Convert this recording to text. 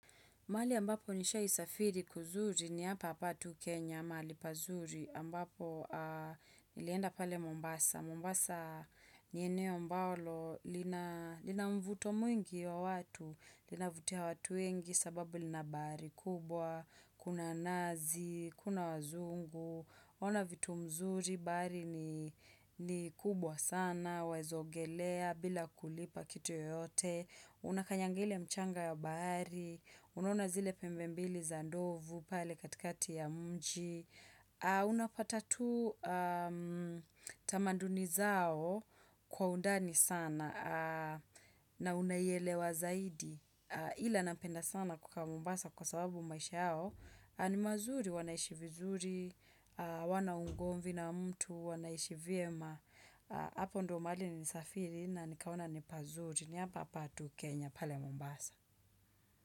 Mahali ambapo nishaisafiri kuzuri ni hapa patu Kenya, mahali pazuri ambapo nilienda pale Mombasa. Mombasa nieneo mbalo, lina mvuto mwingi ya watu, lina vutia watu wengi sababu lina bari kubwa, kuna nazi, kuna wazungu, ona vitu mzuri bari ni kubwa sana, wezaogelea bila kulipa kitu yoteyote, Unakanyanga ile mchanga ya bahari. Unaona zile pembe mbili za ndovu pale katikati ya mji Unapata tu tamanduni zao kwa undani sana na unayelewa zaidi Ila napenda sana kuka Mombasa kwa sababu maisha yao ni mazuri wanaishi vizuri Wanaungomvi na mtu wanaishi vima Hapo ndo mahali ni safiri na nikaona ni pazuri ni hapa hapa tu Kenya pale Mombasa.